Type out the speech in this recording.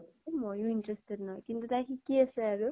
এ মই য়ো নহয় । কিন্তু তাই শিকি আছে আৰু ।